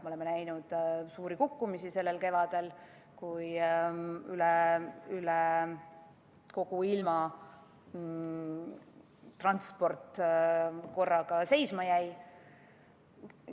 Me nägime suuri kukkumisi sellel kevadel, kui üle kogu ilma transport korraga seisma jäi.